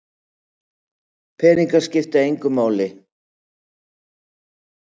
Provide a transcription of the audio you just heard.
Peningar skipta engu máli